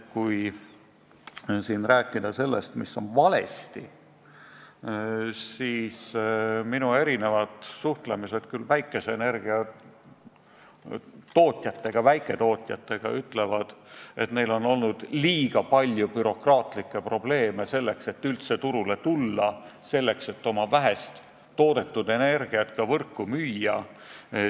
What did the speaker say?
Kui rääkida sellest, mis on valesti, siis võin öelda, et kui ma olen suhelnud päikeseenergia tootjatega, väiketootjatega, siis nad on öelnud, et neil on olnud liiga palju bürokraatlikke probleeme, selleks et nad saaksid üldse turule tulla ja oma vähest toodetud energiat ka võrku müüa.